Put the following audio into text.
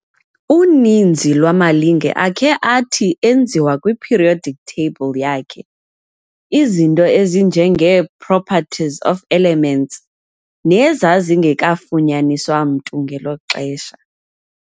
Uninzi lwamalinge akhe athi enziwa kwi-periodic table yakhe izinto ezinjengee-properties of elements nezazingekafunyaniswa mntu ngelo xesha.